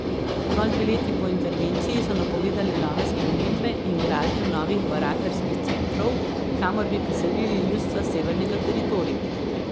Zgolj dve leti po intervenciji so napovedali nove spremembe in gradnjo novih barakarskih centrov, kamor bi preselili ljudstva Severnega teritorija.